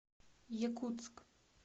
якутск